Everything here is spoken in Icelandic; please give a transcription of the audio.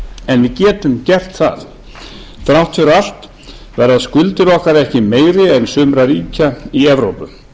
en við getum gert það þrátt fyrir allt verða skuldir okkar ekki meiri en sumra ríkja í evrópu